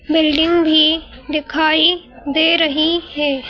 Building भी दिखाई दे रही है।